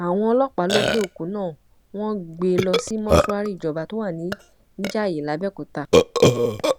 àwọn ọlọpàá lọ gbé òkú náà wọn gbé e lọ sí mọṣúárì ìjọba tó wà nìjayé làbẹòkúta